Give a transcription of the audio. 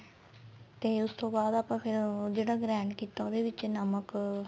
ਤੇ ਉਸ ਤੋਂ ਬਾਅਦ ਆਪਾਂ ਫੇਰ ਜਿਹੜਾ grand ਕੀਤਾ ਉਹਦੇ ਵਿੱਚ ਨਮਕ